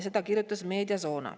Seda kirjutas Mediazona.